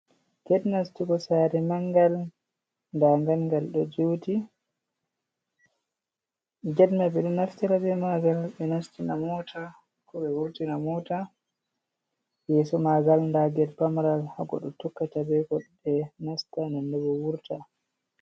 Get nasti bo sari mangal dangalgal do juti getma bedo nafti ra mgal be nasti na mota ko be wurti na mota yeso magal daged pamaral hago do tukka tabeko de nasta nannebo wurta.